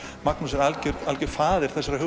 Magnús er algjör algjör faðir þessarar